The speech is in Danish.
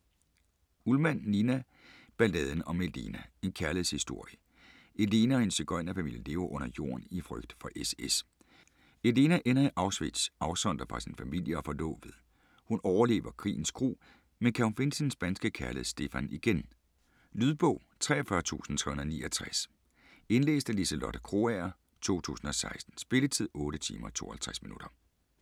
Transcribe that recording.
Ullmann, Nina: Balladen om Elena: en kærlighedshistorie Elena og hendes sigøjnerfamilie lever under jorden i frygt for SS. Elena ender i Auschwitz afsondret fra sin familie og forlovede. Hun overlever krigens gru, men kan hun finde sin spanske kærlighed Stefan igen? Lydbog 43369 Indlæst af Liselotte Krogager, 2016. Spilletid: 8 timer, 52 minutter.